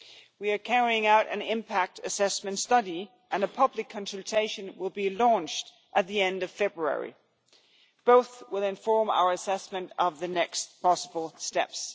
We are carrying out an impact assessment study and a public consultation will be launched at the end of February. Both will inform our assessment of the next possible steps.